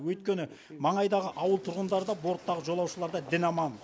өйткені маңайдағы ауыл тұрғындары да борттағы жолаушылар да дін аман